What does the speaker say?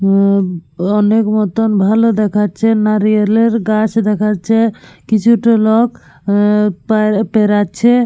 উঃ অনেক মতন ভালো দেখাচ্ছে। নারিয়ালের গাছ দেখাচ্ছে। কিছুটা লোক উঃ পে পেরোচ্ছে।